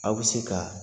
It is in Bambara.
Aw bi se ka